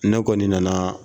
Ne kɔni nanaaa.